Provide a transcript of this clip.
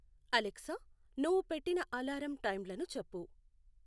Alexa నువ్వు పెట్టిన alarm టైంలను చెప్పు